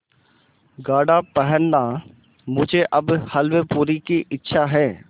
गाढ़ा पहनना मुझे अब हल्वेपूरी की इच्छा है